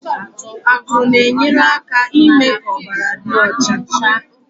Akụrụ na-enyere aka n'ime ka ọbara dị ọcha